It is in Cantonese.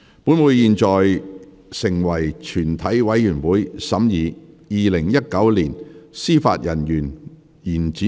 本會現在成為全體委員會，審議《2019年司法人員條例草案》。